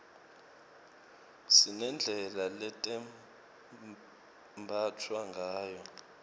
sinedlela letembatfwa ngayo